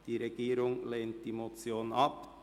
Die Regierung lehnt die Motion ab.